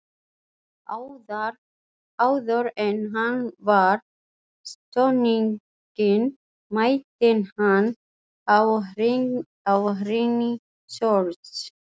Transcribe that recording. Áður en hann var stunginn mælti hann áhrínisorð.